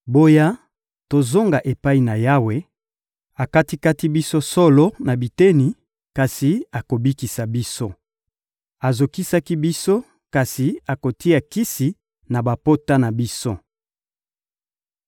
Boya, tozonga epai na Yawe! Akati-kati biso solo na biteni, kasi akobikisa biso; azokisaki biso, kasi akotia kisi na bapota na biso.